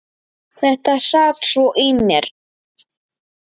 Þetta sat svo í mér.